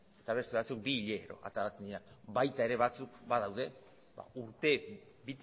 eta beste batzuk bi hilero ateratzen direnak baita ere batzuk badaude urte